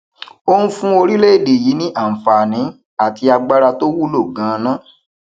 ó ń fún orílẹèdè yìí ní àǹfààní àti agbára tó wulo ganan